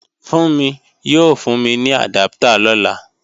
Fúnmi yóò fún mi ní àdáptà lọ́la